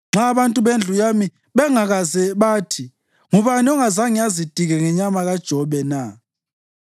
nxa abantu bendlu yami bengakaze bathi, ‘Ngubani ongazange azitike ngenyama kaJobe na?’